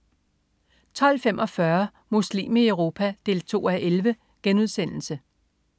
12.45 Muslim i Europa 2:11*